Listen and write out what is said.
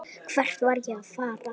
Hvert var ég að fara?